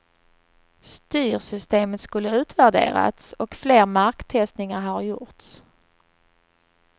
Styrsystemet skulle utvärderats och fler marktestningar ha gjorts.